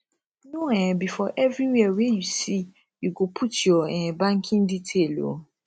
no um be for everywhere wey you see you go put your um banking detail o